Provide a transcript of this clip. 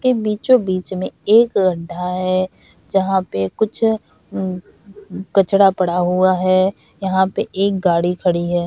इसके बीचों बीच में एक गड्डा है जहाँ पे कुछ उ कचड़ा पड़ा हुआ है यहाँ पे एक गाड़ी खड़ी है।